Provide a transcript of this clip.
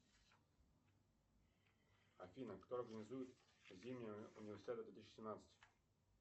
афина кто организует зимнюю универсиаду две тысячи семнадцать